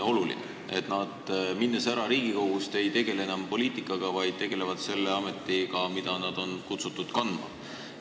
Nimelt see, et nad Riigikogust äraläinutena ei tegele enam poliitikaga, vaid tegelevad selle ametiga, mida nad on kutsutud pidama.